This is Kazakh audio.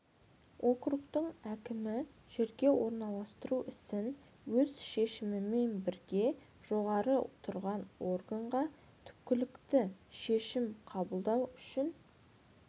округтің әкімі жерге орналастыру ісін өз шешімімен бірге жоғары тұрған органға түпкілікті шешім қабылдау үшін